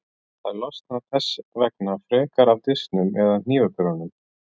Þær losna þess vegna frekar af disknum eða hnífapörunum.